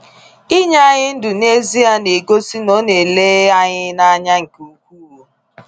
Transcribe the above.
Inye anyị ndụ n’ezie na-egosi na ọ na-ele anyị n’anya nke ukwuu!